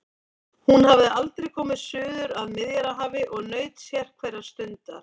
Hún hafði aldrei komið suður að Miðjarðarhafi og naut sérhverrar stundar.